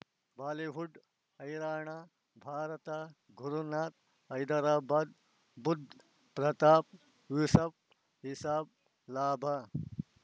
Bollywood ಹೈರಾಣ ಭಾರತ ಗುರುನಾಥ ಹೈದರಾಬಾದ್ ಬುಧ್ ಪ್ರತಾಪ್ ಯೂಸುಫ್ ರಿಸಬ್ ಲಾಭ